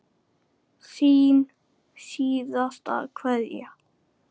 Þín síðasta kveðja.